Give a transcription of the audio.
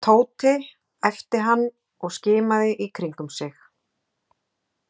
Tóti æpti hann og skimaði í kringum sig.